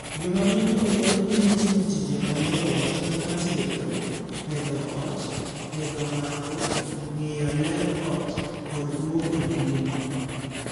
Joma mine othor ng'ee ni timo tije mayot kaka tedo, pedho ot, pedho ng'ango, ng'iyo ler ot, kod luoko nengni.